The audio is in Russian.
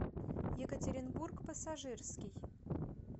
екатеринбург пассажирский